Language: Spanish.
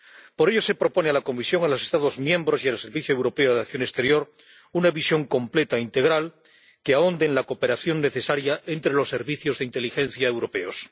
Por ello, se propone a la Comisión, a los Estados miembros y al Servicio Europeo de Acción Exterior una visión completa, integral que ahonde en la cooperación necesaria entre los servicios de inteligencia europeos.